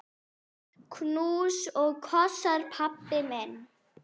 Knús og kossar, pabbi minn.